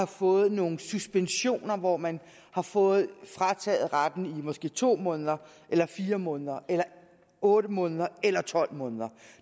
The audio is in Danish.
fået nogle suspensioner hvor man har fået frataget retten i måske to måneder eller fire måneder eller otte måneder eller tolv måneder